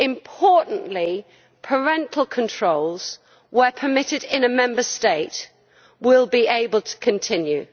Importantly, parental controls, where permitted in a Member State, will be able to continue.